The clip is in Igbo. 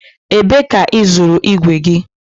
Ebe ka ị zụrụ igwe gị?